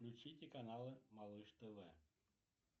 включите каналы малыш тв